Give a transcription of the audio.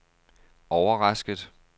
overrasket